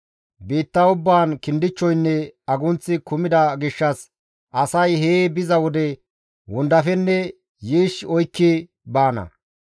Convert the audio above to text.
Biitta ubbaan kindichchoynne agunththi kumida gishshas asay hee biza wode wondafenne yiish oykki baana.